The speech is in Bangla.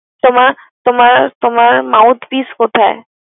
তোমার মাউথ পিছ কোথায়?